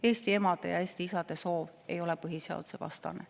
Eesti emade ja isade soov ei ole põhiseadusevastane.